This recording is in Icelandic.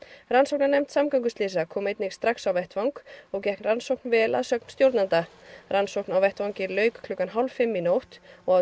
rannsóknarnefnd samgönguslysa kom einnig strax á vettvang og gekk rannsókn vel að sögn stjórnanda rannsókn á vettvangi lauk klukkan hálf fimm í nótt og